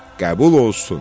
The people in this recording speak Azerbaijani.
Qəbul olsun.